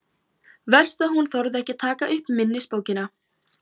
Verst að hún þorði ekki að taka upp minnisbókina.